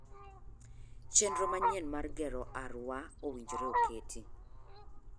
Chenro manyien mar gero Arua owinjore oketi.